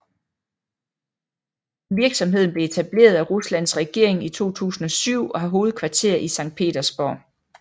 Virksomheden blev etableret af Ruslands regering i 2007 og har hovedkvarter i Sankt Petersborg